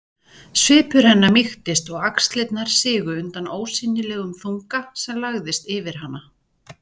Svipur hennar mýktist og axlirnar sigu undan ósýnilegum þunga sem lagðist yfir hana.